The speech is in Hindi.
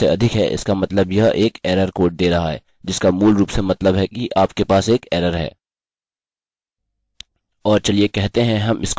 यदि यह शून्य से अधिक है इसका मतलब यह एक एररerror कोड दे रहा है जिसका मूल रूप से मतलब है कि आपके पास एक एररerror है